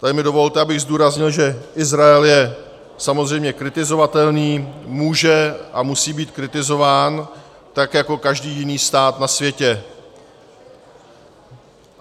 Tady mi dovolte, abych zdůraznil, že Izrael je samozřejmě kritizovatelným, může a musí být kritizován tak jako každý jiný stát na světě.